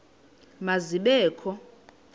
ma zibe kho